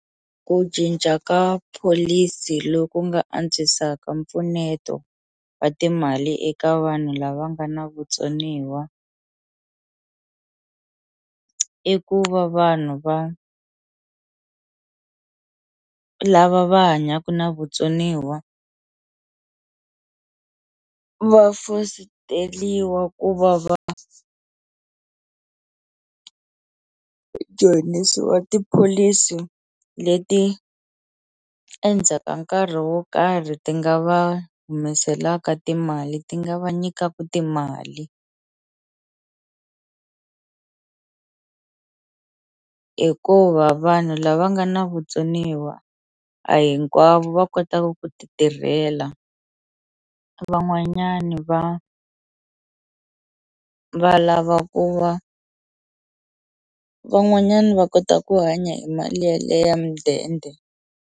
Ku cinca ka pholisi loku nga antswisaka mpfuneto wa timali eka vanhu lava nga na vutsoniwa i ku va vanhu va lava va hanyaku na vutsoniwa va fositeliwa ku va va joyinisiwa tipholisi leti endzhaka nkarhi wo karhi ti nga va humeselaka timali ti nga va nyikaku timali hikuva vanhu lava nga na vutsoniwa a hinkwavo va kotaku ku ti tirhela van'wanyani va va lava ku va van'wanyani va kota ku hanya hi mali ya le ya mudende.